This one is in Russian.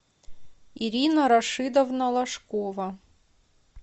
ирина рашидовна лошкова